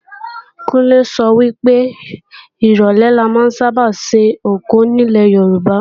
Kúnlé sọ wípé, ìrólé la ma ń sáábà sìnkú nílè Yorùbá